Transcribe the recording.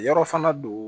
Yɔrɔ fana don